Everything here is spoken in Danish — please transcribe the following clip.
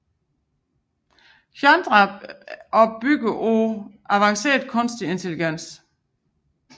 Chandra og bygger på avanceret kunstig intelligens